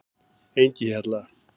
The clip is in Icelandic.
Engihjalla